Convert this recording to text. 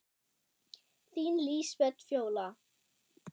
Þín Lísbet Fjóla.